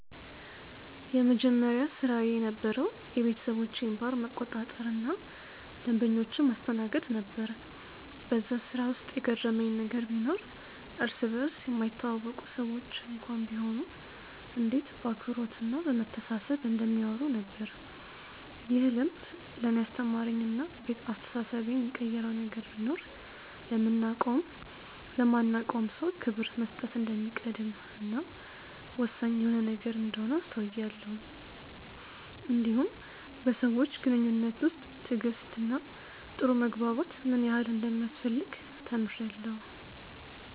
የመጀመሪያ ስራዬ የነበረዉ የቤተሰቦቼን ባር መቆጣጠር እና ደንበኞችን ማስተናገድ ነበር በዛ ስራ ውስጥ የገረመኝ ነገር ቢኖር እርስ በርስ የማይተዋወቁ ሰዎች እንኳን ቢሆኑ እንዴት በአክብሮት እና በመተሳሰብ እንደሚያወሩ ነበር። ይህ ልምድ ለእኔ ያስተማረኝ እና አስተሳሰቤን የቀየረው ነገር ቢኖር ለምናቀውም ለማናቀውም ሰው ክብር መስጠት እንደሚቀድም እና ወሳኝ የሆነ ነገር እንደሆነ አስተውያለው እንዲሁም በሰዎች ግንኙነት ውስጥ ትዕግስት እና ጥሩ መግባባት ምን ያህል እንደሚያስፈልግ ተምሬአለሁ።